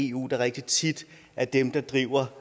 eu der rigtig tit er dem der driver